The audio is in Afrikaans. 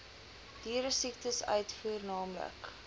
dieresiektes uitvoer naamlik